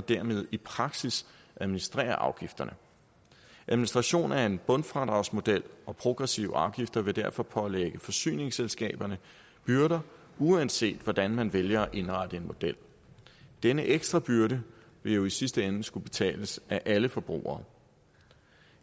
dermed i praksis administrerer afgifterne administrationen af en bundfradragsmodel og progressive afgifter vil derfor pålægge forsyningsselskaberne byrder uanset hvordan man vælger at indrette en model denne ekstra byrde vil jo i sidste ende skulle betales af alle forbrugere